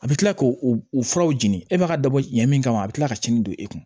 A bɛ kila k'o furaw jeni e b'a ka dabɔ ɲɛ min kama a bɛ tila ka ciɲɛn don e kun